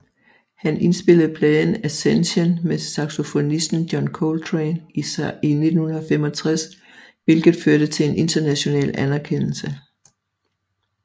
Han indspillede pladen Ascension med saxofonisten John Coltrane i 1965 hvilket førte til en international anerkendelse